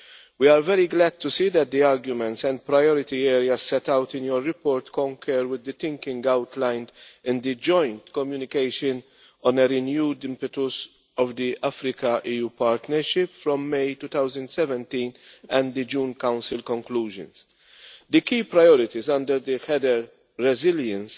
We are very glad to see that the arguments and priority areas set out in your report concur with the thinking outlined in the Joint Communication for a renewed impetus of the Africa EU Partnership from May 2017 and the June Council conclusions. The key priorities under the heading Resilience',